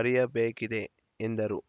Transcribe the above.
ಅರಿಯಬೇಕಿದೆ ಎಂದರು